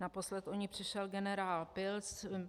Naposled o ni přišel generál Pilc.